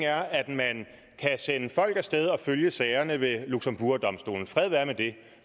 man kan sende folk af sted og følge sagerne ved luxembourgdomstolen fred være med det